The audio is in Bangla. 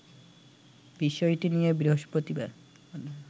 বিষয়টি নিয়ে বৃহস্পতিবার